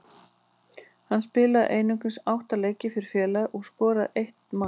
Hann spilaði einungis átta leiki fyrir félagið og skoraði eitt mark.